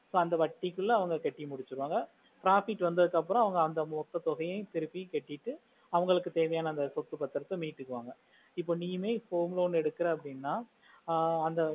so அந்த வட்டிக்குள அவங்க கட்டி முடிச்சிடுவாங்க profit வந்ததுக்கு அப்பறோம் மோட்டோ தொகையா கட்டிட்டு அவங்களுக்கு தேவையான சொத்து பத்திராத மிடுக்குவாங்க இப்போ நீனா இப்போ home loan எடுக்குற அப்புடின்னா ஆஹ் அந்த